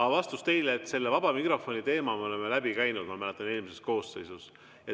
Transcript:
Aga vastus teile: selle vaba mikrofoni teema me oleme läbi käinud, ma mäletan, eelmises koosseisus.